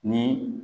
Ni